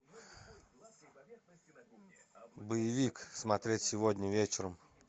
боевик смотреть сегодня вечером